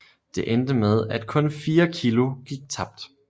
Det endte med at kun 4 kg gik tabt